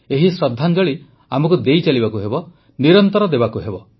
ଏହି ଶ୍ରଦ୍ଧାଞ୍ଜଳି ଆମକୁ ଦେଇ ଚାଲିବାକୁ ହେବ ନିରନ୍ତର ଦେବାକୁ ହେବ